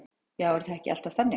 Já, er það ekki alltaf þannig?